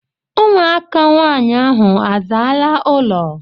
Ụmụaka nwaanyị ahụ a zaala ụlọ?